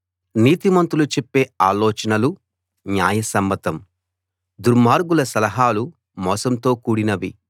నీతిమంతులు చెప్పే ఆలోచనలు న్యాయసమ్మతం దుర్మార్గుల సలహాలు మోసంతో కూడినవి